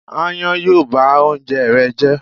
Ááyán yóò ba oúnjẹ rẹ jẹ́.